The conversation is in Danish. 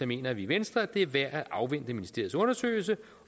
mener vi i venstre at det er værd at afvente ministeriets undersøgelse